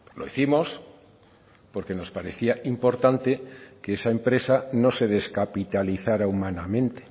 lo hicimos porque nos parecía importante que esa empresa no se descapitalizara humanamente